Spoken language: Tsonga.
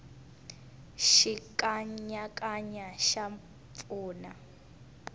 xikanyakanya xa pfuna